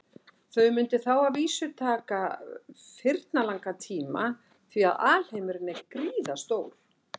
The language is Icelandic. Þau mundu þá að vísu taka firnalangan tíma því að alheimurinn er gríðarstór.